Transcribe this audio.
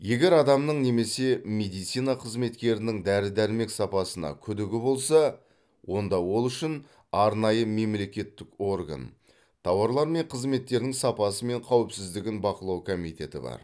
егер адамның немесе медицина қызметкерінің дәрі дәрмек сапасына күдігі болса онда ол үшін арнайы мемлекеттік орган тауарлар мен қызметтердің сапасы мен қауіпсіздігін бақылау комитеті бар